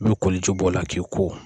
N'u ye koli ji b'o la k'i ko